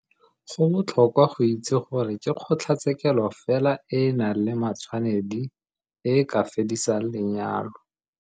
Go botlhokwa go itse gore ke kgotlatshekelo fela e e nang le matshwanedi e e ka fedisang lenyalo.